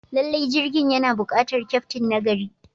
Lallai, jirgin yana buƙatar kyaftin nagari.